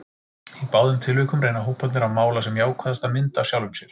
Í báðum tilvikum reyna hóparnir að mála sem jákvæðasta mynd af sjálfum sér.